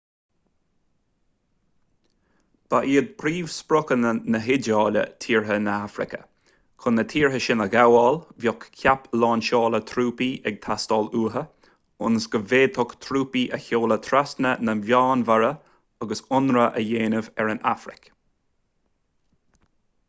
ba iad príomhspriocanna na hiodáile tíortha na hafraice. chun na tíortha sin a ghabháil bheadh ​​ceap lainseála trúpaí ag teastáil uathu ionas go bhféadfadh trúpaí a sheoladh trasna na meánmhara agus ionradh a dhéanamh ar an afraic